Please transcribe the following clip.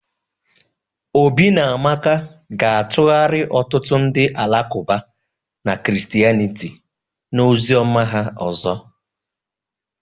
Obi na Amaka ga-atụgharị ọtụtụ ndị Alakụba na Christianity na ozi ọma ha ọzọ